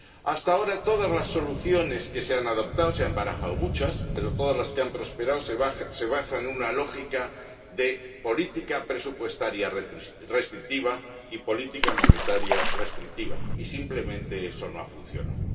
Hasta ahora, todas las soluciones que se han adoptado −se han barajado muchas todas las que han prosperado se basan en una lógica de política presupuestaria restrictiva y política monetaria restrictiva, y simplemente eso no ha funcionado.